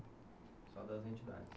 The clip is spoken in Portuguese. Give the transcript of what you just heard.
Só das entidades?